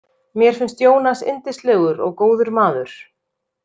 Mér finnst Ionas yndislegur og góður maður.